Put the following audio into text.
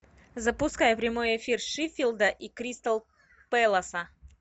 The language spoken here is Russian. запускай прямой эфир шеффилда и кристал пэласа